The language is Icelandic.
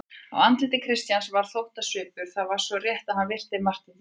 Á andliti Christians var þóttasvipur: það var rétt svo hann virti Martein viðlits.